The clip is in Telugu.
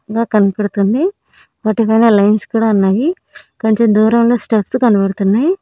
ఇంకా కనబడుతుంది వాటిపైన లైన్స్ కూడా ఉన్నాయి కొంచెం దూరంలో స్టెప్స్ కనబడుతున్నాయి.